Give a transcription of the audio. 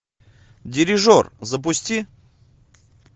дирижер запусти